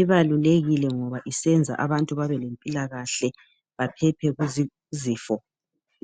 ibalulekile ngoba isenza abantu babe lempilakahle baphephe kuzifo.